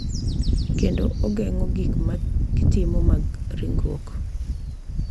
Kendo ogeng’o gik ma gitimo mag ringruok.